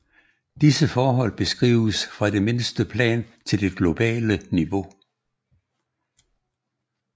Disse forhold beskrives fra det mindste plan til det globale niveau